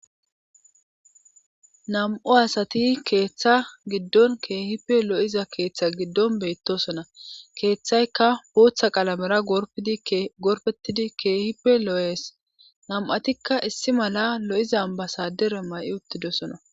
Nam7o asati keeththa giddon keehipe lo7iza keeththe giddon beyttosona keeththaykka booththa qalamera gorpdi gorfetidi keehipe lo7es nam7atikka issi mala lo7iza basadere may7i uttidosona